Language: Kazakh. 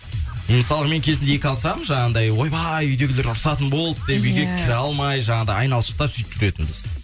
мысалға мен кезінде екі алсам жаңағындай ойбай үйдегілер ұрсатын болды деп үйге кіре алмай жаңағындай айналшықтап сөйтіп жүретінбіз